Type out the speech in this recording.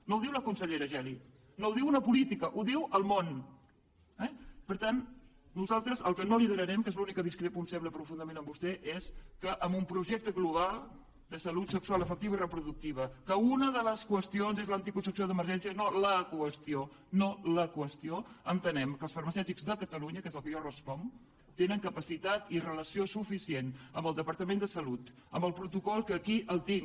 no ho diu la consellera geli no ho diu una política ho diu el món eh per tant nosaltres el que no liderarem que és en l’únic que discrepo em sembla profundament de vostè és que en un projecte global de salut sexual afectiva i reproductiva en què una de les qüestions és l’anticoncepció d’emergència no la qüestió no que els farmacèutics de catalunya que és del que jo responc tenen capacitat i relació suficient amb el departament de salut amb el protocol que aquí el tinc